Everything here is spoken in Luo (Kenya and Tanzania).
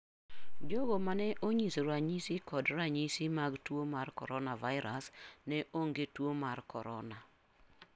Jogo mane onyiso ranyisi kod ranyisi mag tuo mar coronavirus ne onge tuo mar korona.